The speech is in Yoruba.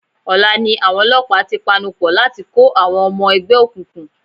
Ọ̀la ni àwọn olọ́pàá ti panupọ̀ láti kó àwọn ọmọ ẹgbẹ́ òkùnkùn.